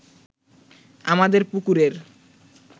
আমাদের পুকুরের